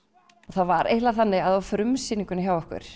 það var eiginlega þannig að á frumsýningunni okkar